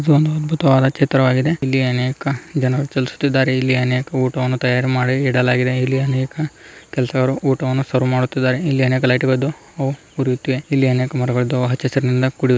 ಇದು ಅದ್ಭುತವಾದ ಚಿತ್ರವಾಗಿದೆ ಇಲ್ಲಿ ಅನೇಕ ಜನ ಸುತ್ತುತ್ತಾರೆ ಇಲ್ಲಿ ಅನೇಕ ಊಟವನ್ನು ತಯಾರಿ ಮಾಡಿ ಇಡಲಾಗಿದೆ ಇಲ್ಲಿ ಅನೇಕ ಕೆಲಸಗಾರರು ಊಟವನ್ನು ಸರ್ವ್ ಮಾಡುತಿದ್ದಾರೆ ಇಲ್ಲಿ ಅನೇಕ ಲೈಟ್ ಅಹ್ ಅಹ್ ಅಹ್ ಇಲ್ಲಿ ಅನೇಕ ಮರಗಳು ಹಚ್ಚು ಹಸಿರಾಗಿದೆ.